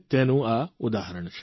તેનું આ ઉદાહરણ છે